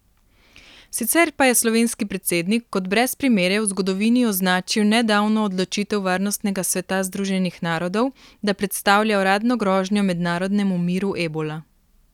Sicer pa je slovenski predsednik kot brez primere v zgodovini označil nedavno odločitev Varnostnega sveta Združenih narodov, da predstavlja uradno grožnjo mednarodnemu miru ebola.